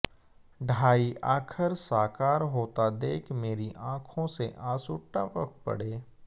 ढाई आखर साकार होता देख मेरी आंखों से आंसू टपक पड़े